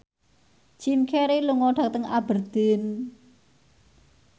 Jim Carey lunga dhateng Aberdeen